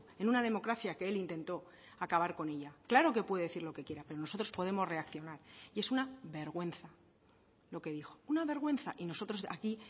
en una democracia que él intentó acabar con ella claro que puede decir lo que quiera pero nosotros podemos reaccionar y es una vergüenza lo que dijo una vergüenza y nosotros aquí